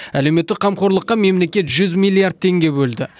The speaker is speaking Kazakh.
әлеуметтік қамқорлыққа мемлекет жүз миллиард теңге бөлді